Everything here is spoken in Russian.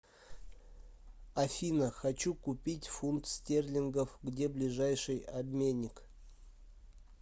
афина хочу купить фунт стерлингов где ближайший обменник